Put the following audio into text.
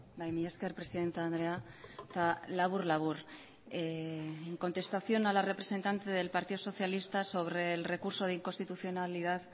bai mila esker presidente andrea eta labur labur en contestación a la representante del partido socialista sobre el recurso de inconstitucionalidad